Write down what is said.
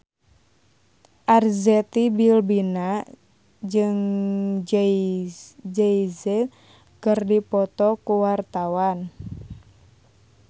Arzetti Bilbina jeung Jay Z keur dipoto ku wartawan